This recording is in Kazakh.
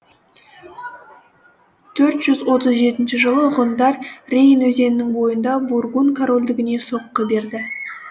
төрт жүз отыз жетінші жылы ғұндар рейн өзенінің бойында бургун корольдігіне соққы берді